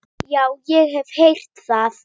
Já, ég hef heyrt það.